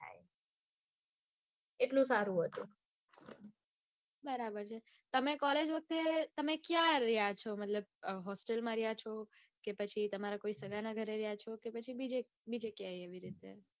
એટલું સારું હતું. બરાબર છે તમે collage વખતે ક્યાં ર્ય છો? મતલબ hostel માં રહ્યા છો કે સગાને ત્યાં રહ્યા છો કે પછી બીજે ક્યાંય એવી રીતે